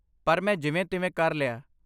ਪਰ ਮੈਂ ਜਿਵੇਂ ਤਿਵੇਂ ਕਰ ਲਿਆ